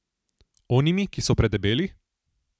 Onimi, ki so predebeli?